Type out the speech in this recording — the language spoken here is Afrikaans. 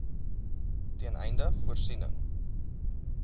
ten einde voorsiening